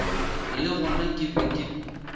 le gona ke be ke